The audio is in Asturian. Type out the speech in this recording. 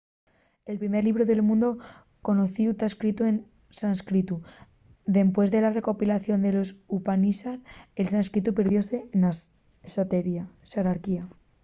el primer llibru del mundu conocíu ta escritu en sánscritu dempués de la recopilación de los upanishad el sánscritu perdióse na xerarquía